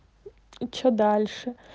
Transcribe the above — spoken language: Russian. что дальше